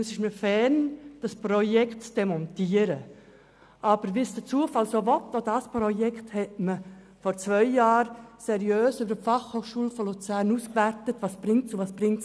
Es liegt mir fern, es zu demontieren, aber wie es der Zufall will, wurde es vor zwei Jahren an der Fachhochschule Luzern seriös ausgewertet.